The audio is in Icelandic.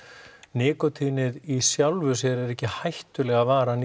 nikótínið í sjálfu sér er ekki hættulega varan